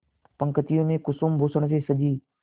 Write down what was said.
पंक्तियों में कुसुमभूषण से सजी